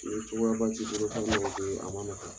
a man nɔgɔ.